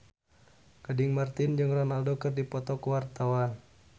Gading Marten jeung Ronaldo keur dipoto ku wartawan